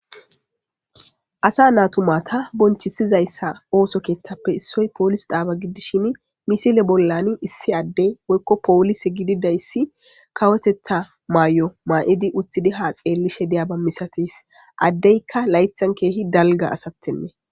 asa naa tumata bonchisizayssa ooso keeththappe issoy poolis daaba giddishin misile bollan issi addey woykko poolise gididayssi kawotetha maay7o maa7idi utidi haa xeelli she diya ba misates addeykka laythan keehi dalga asatenne